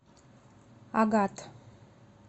агат